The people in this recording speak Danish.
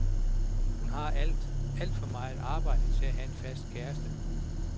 Hun har alt, alt for meget arbejde til at have en fast kæreste.